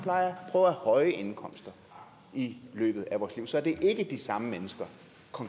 og at høje indkomster i løbet af vores liv så det er ikke de samme konkrete mennesker